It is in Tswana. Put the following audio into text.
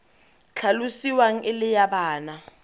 tlhalosiwang e le ya bana